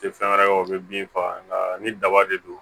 Tɛ fɛn wɛrɛ ye o bɛ bin faga nga ni daba de don